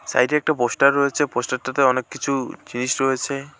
সাইডে একটা পোস্টার রয়েছে পোস্টারটাতে অনেক কিছু জিনিস রয়েছে।